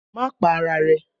Má pa ara rẹ̀!